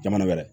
Jamana wɛrɛ